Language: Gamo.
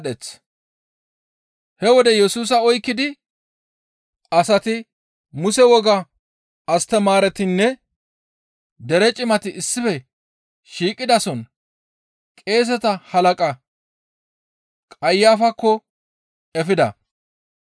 He wode Yesusa oykkidi asati Muse wogaa astamaaretinne dere cimati issife shiiqidason qeeseta halaqa Qayafakko efida.